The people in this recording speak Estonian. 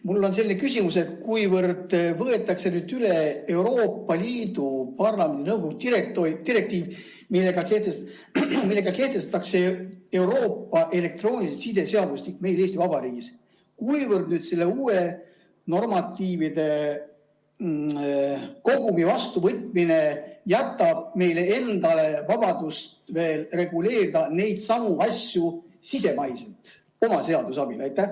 Mul on selline küsimus: kui nüüd võetakse üle Euroopa Parlamendi ja nõukogu direktiiv, millega kehtestatakse Euroopa elektroonilise side seadustik meil Eesti Vabariigis, siis kuivõrd selle uue normatiivide kogumi vastuvõtmine jätab meile endale vabadust reguleerida neidsamu asju veel sisemaiselt, oma seaduse alusel?